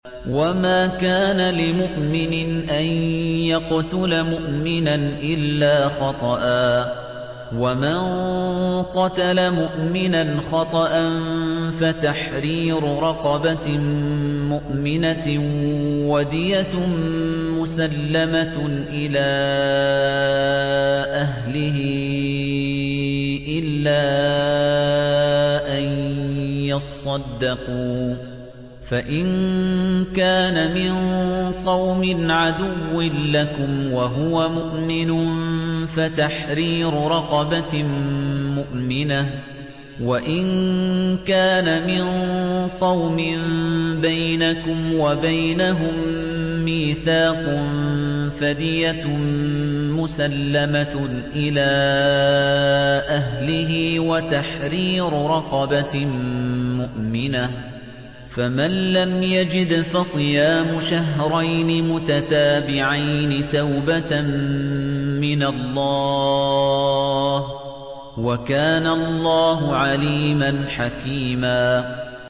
وَمَا كَانَ لِمُؤْمِنٍ أَن يَقْتُلَ مُؤْمِنًا إِلَّا خَطَأً ۚ وَمَن قَتَلَ مُؤْمِنًا خَطَأً فَتَحْرِيرُ رَقَبَةٍ مُّؤْمِنَةٍ وَدِيَةٌ مُّسَلَّمَةٌ إِلَىٰ أَهْلِهِ إِلَّا أَن يَصَّدَّقُوا ۚ فَإِن كَانَ مِن قَوْمٍ عَدُوٍّ لَّكُمْ وَهُوَ مُؤْمِنٌ فَتَحْرِيرُ رَقَبَةٍ مُّؤْمِنَةٍ ۖ وَإِن كَانَ مِن قَوْمٍ بَيْنَكُمْ وَبَيْنَهُم مِّيثَاقٌ فَدِيَةٌ مُّسَلَّمَةٌ إِلَىٰ أَهْلِهِ وَتَحْرِيرُ رَقَبَةٍ مُّؤْمِنَةٍ ۖ فَمَن لَّمْ يَجِدْ فَصِيَامُ شَهْرَيْنِ مُتَتَابِعَيْنِ تَوْبَةً مِّنَ اللَّهِ ۗ وَكَانَ اللَّهُ عَلِيمًا حَكِيمًا